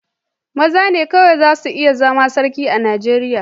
Maza ne kawai za su iya zama Sarki a Nigeriya.